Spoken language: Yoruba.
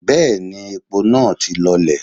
Bẹ́ẹ̀ni, epo naa ti lọlẹ̀.